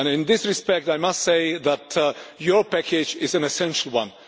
In this respect, I must say that your package is an essential one.